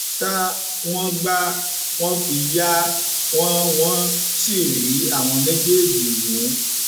ṣá wọn gbá wọn fi yá wọn wọn sì rí àwọn méjèèjì mú